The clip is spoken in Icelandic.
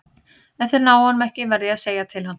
Ef þeir ná honum ekki verð ég að segja til hans.